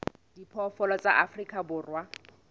a diphoofolo tsa afrika borwa